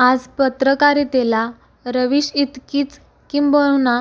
आज पत्रकारितेला रविश इतकीच किंबहुना